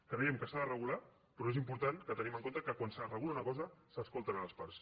creiem que s’ha de regular però és important que tinguem en compte que quan es regula una cosa s’escolten les parts